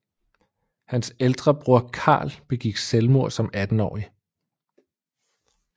Hans ældre bror Karl begik selvmord som attenårig